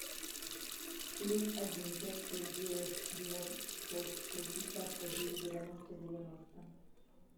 плюс один пятьсот девять девятьсот шестьдесят один девяносто девяносто